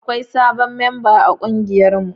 Akwai sabon memba a kungiyarmu.